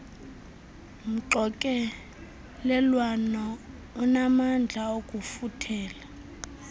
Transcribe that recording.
mxokelelwano unamandla okufuthela